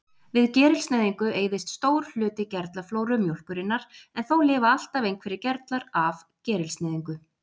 Við gerilsneyðingu eyðist stór hluti gerlaflóru mjólkurinnar, en þó lifa alltaf einhverjir gerlar af gerilsneyðingu.